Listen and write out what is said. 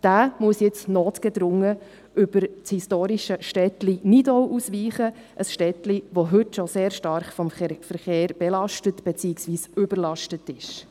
Dieser muss nun notgedrungen über das historische Städtlein Nidau ausweichen, ein Städtlein, das heute bereits sehr stark vom Verkehr belastet, beziehungsweise überlastet ist.